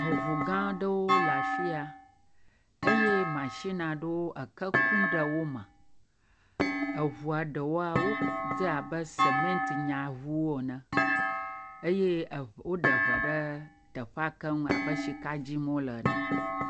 Eŋu gã aɖewo le afi ya, eye mashin aɖewo eke kum ɖe wo me, eŋua ɖewoa, wodze abe sementnyaŋuwo ene eye eŋ woɖe ŋe ɖe teƒa keŋ abe tsika dim wole ene.